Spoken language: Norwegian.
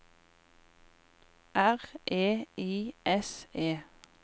R E I S E